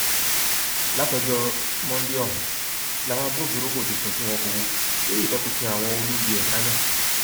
láti ọjọ monde ọhún làwọn agbófinró kò ti sùn tí wọn kò wò lórí ìtọpinpin àwọn olubi ẹdá náà